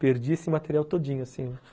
Perdi esse material todinho, assim